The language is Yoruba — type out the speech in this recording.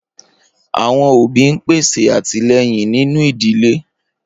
Awọn obi n pese atilẹyin ninu idile.